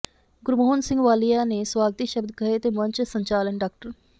ਗੁਰਮੋਹਨ ਸਿੰਘ ਵਾਲੀਆ ਨੇ ਸਵਾਗਤੀ ਸ਼ਬਦ ਕਹੇ ਤੇ ਮੰਚ ਸੰਚਾਲਨ ਡਾ